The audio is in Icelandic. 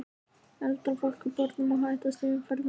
Eldra fólki og börnum er hættast í umferðinni.